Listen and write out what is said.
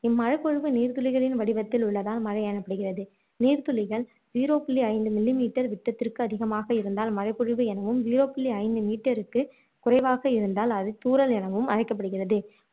மழை பொழிவு நீர் துளிகளின் வடிவத்தில் உள்ளதால் மழை எனப்படுகிறது நீர்த்துளிகள் zero புள்ளி ஐந்து millimeter விட்டத்திற்கு அதிகமாக இருந்தால் மழை பொழிவு எனவும் zero புள்ளி ஐந்து meter க்கு குறைவாக இருந்தால் அது தூறல் எனவும் அழைக்கப்படுகிறது